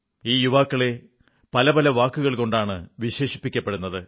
ഈ യുവാക്ക പല പല വാക്കുകൾ കൊണ്ടാണ് വിശേഷിപ്പിക്കപ്പെടുന്നത്